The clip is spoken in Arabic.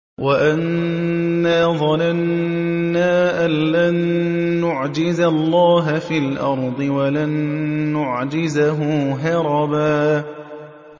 وَأَنَّا ظَنَنَّا أَن لَّن نُّعْجِزَ اللَّهَ فِي الْأَرْضِ وَلَن نُّعْجِزَهُ هَرَبًا